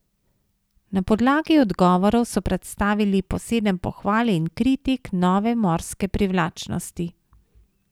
Na podlagi odgovorov so predstavili po sedem pohval in kritik nove Morske privlačnosti.